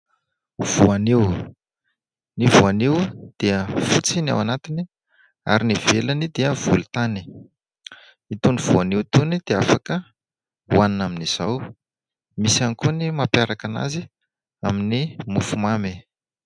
Voanio. Ny voanio dia fotsy ny ao anatiny ary ny ivelany dia volon-tany. Itony voanio itony dia afaka hohanina amin'izao. Misy ihany koa ny mampiaraka anazy amin'ny mofo mamy.